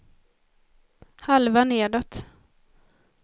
halva nedåt